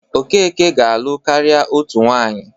Okeke ga-alụ karịa otu nwaanyị.